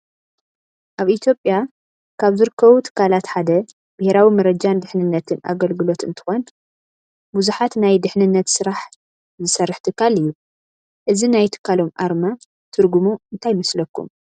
አብ ኢትዮጲያ ካብ ዝርከቡ ትካላት ሓደ ብሔራዊ መረጃን ድህንነት አገለግሎት እንትኮን ብዝሕት ናይ ድሕንነት ስራሕ ዝስርሕ ትካል እዩ። እዚ ናይ ትካሎም አርማ ትርጉሙ እንታይ ይመስለኩም?